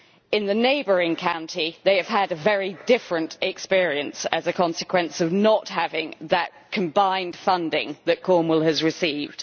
In the neighbouring county, they have had a very different experience as a consequence of not having that combined funding that Cornwall has received.